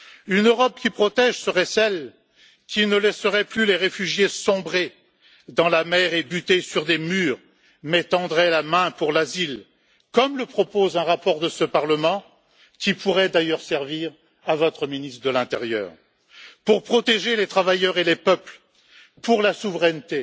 Une Europe qui protège serait celle qui ne laisserait plus les réfugiés sombrer dans la mer et buter sur des murs mais tendrait la main pour l'asile, comme le propose un rapport de ce Parlement qui pourrait d'ailleurs servir à votre ministre de l'intérieur. Pour protéger les travailleurs et les peuples, pour la souveraineté,